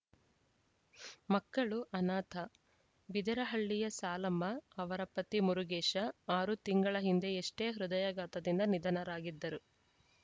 ಮಕ್ಕಳು ಅನಾಥ ಬಿದರಹಳ್ಳಿಯ ಸಾಲಮ್ಮ ಅವರ ಪತಿ ಮುರುಗೇಶ ಆರು ತಿಂಗಳ ಹಿಂದೆಯಷ್ಟೇ ಹೃದಯಾಘಾತದಿಂದ ನಿಧನರಾಗಿದ್ದರು